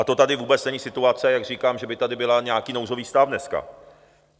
A to tady vůbec není situace, jak říkám, že by tady byl nějaký nouzový stav dneska.